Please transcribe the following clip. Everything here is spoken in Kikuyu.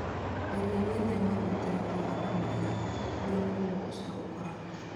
Geria gwĩthema gũitĩrĩria andũ maĩ kũrĩa mũrimũ ũcio ũkoragwo.